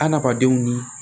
Adamadenw ni